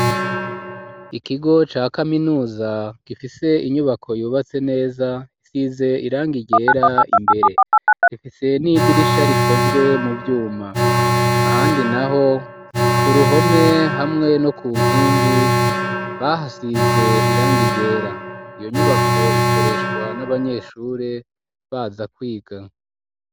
Ikigo ca kaminuza gifise inyubako yubatse neza size iranga igera imbere gifise n'idirisha rikozwe mu vyuma ahandi na ho ku ruhome hamwe no ku nkingi bahasize irangi ryera iyo nyubako ikoreshwa n'abanyeshure baza kwigana.